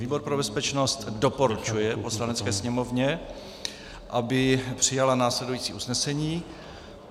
Výbor pro bezpečnost doporučuje Poslanecké sněmovně, aby přijala následující usnesení.